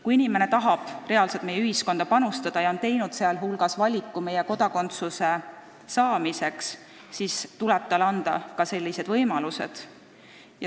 Kui inimene tahab reaalselt meie ühiskonda panustada ja on teinud valiku, et ta soovib kodakondsust, siis tuleb talle anda selleks ka võimalused.